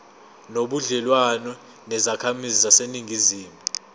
nobudlelwane nezakhamizi zaseningizimu